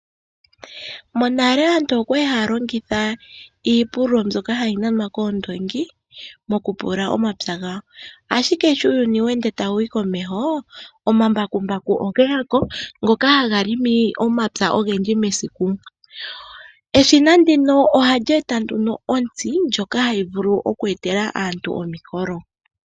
Monale aantu okwali haya longitha iipululo mbyoka hayi nanwa koondoongi mokupululia omapya gawo , ashike sho uuyuni tawu yi komeho omambakumbaku ogeya ko taga pulula omapya ogendji mesiku. Eshina ndino ohali eta nduno ontsi ndjoka hayi eta omukolo.